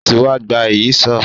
Ó ti wa gba Ìyíṣòó